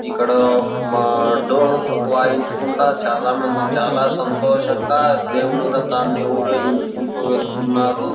ఇక్కడ మా డోలు ని వాయించకుంటా చాల మంది చాలా సంతోషంగా దేవుడు రకాన్ని ఉరేగించుకుంటూ వెళ్తున్నారు.